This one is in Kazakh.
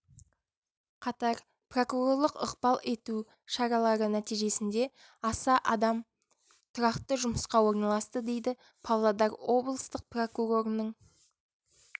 қатар прокурорлық ықпал ету шаралары нәтижесінде аса адам тұрақты жұмысқа орналасты дейді павлодар облыстық прокурорының